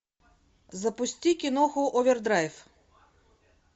запусти киноху овердрайв